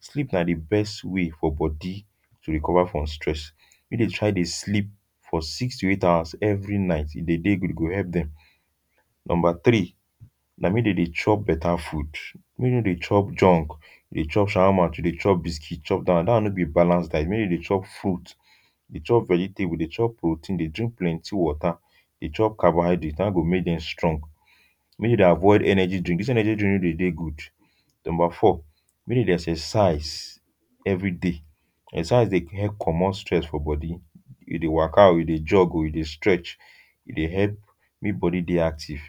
Sleep na di best way for body to recover from stress. Make dey try dey sleep for six to eight hours every night. E dey dey good. E go help them. Number three, na make dey dey chop better food. Make dem no dey chop junk, dey chop shawarma, to dey chop biscuit, chop dat one. Dat one no be balanced diet. Make dem dey chop fruits, dey chop vegetables, dey chop proteins, dey chop plenty water, dey chop carbohydrates—dat one go make dem strong. Make dem dey avoid energy drink. Dis energy drink no dey dey good. Number four, make dem dey exercise everyday. Exercise dey help comot stress for body. You dey waka o, you dey jog, you dey stretch, e dey help make body dey active.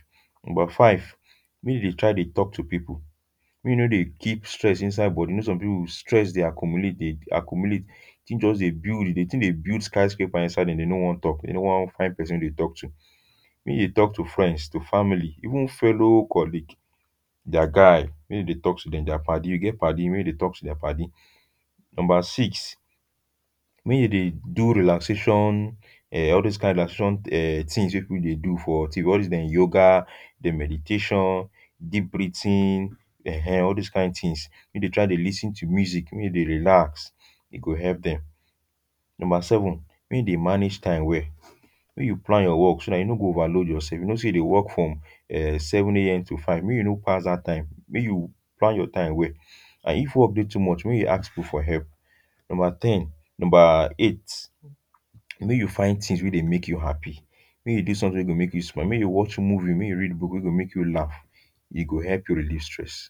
Number five, make dey dey try dey talk to people. Make you no dey keep stress inside body. You know some people stress dey accumulate dey accumulate. Di tin just dey build di tin dey build skyscraper for inside dem, dem no wan talk. Dem no wan find pesin to talk to. Make you talk to friends, to family, even fellow colleague, their guy, make dem dey talk to dem. Their paddy, you get paddy, make you dey talk to dia paddy. Number six make you dey do relaxation um all these kain relaxation um tins wey people dey do for TV. All these dem yoga, dem meditation, deep breathing, eh-ehn, all these kain tins. Make you dey try dey lis ten to music, make you relax. E go help dem. Number seven, make you dey manage time well. Make you plan your work so you no go overload yourself. You know say you dey work from seven A M to five, make you no pass dat time. Make you plan dat time well. And if work dey too much, make you ask people for help. Number ten, number eight, make you find tins wey dey make you happy. Make you do something good make you smile. Make you watch movie, make you read book wey go make you laugh. E go help you relieve stress.